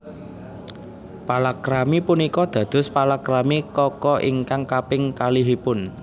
Palakrami punika dados palakrami Kaka ingkang kaping kalihipun